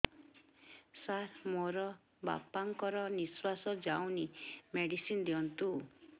ସାର ମୋର ବାପା ଙ୍କର ନିଃଶ୍ବାସ ଯାଉନି ମେଡିସିନ ଦିଅନ୍ତୁ